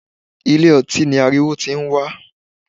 Ilé - ọtí ni ariwo tí ń wá.